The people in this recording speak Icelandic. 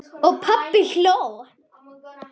Og pabbi hló.